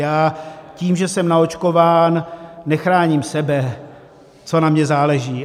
Já tím, že jsem naočkován, nechráním sebe - co na mě záleží?